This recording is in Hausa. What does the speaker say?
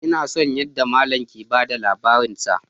Ina son yadda mallam yake ba da labarinsa